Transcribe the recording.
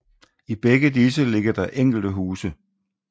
I begge disse ligger der enkelte huse